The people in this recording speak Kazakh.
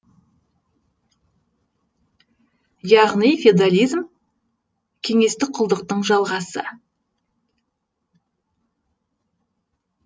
яғни феодализм кеңестік құлдықтың жалғасы